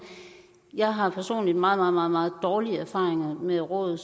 jeg har personligt meget meget meget dårlige erfaringer med råd